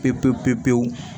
Pepewu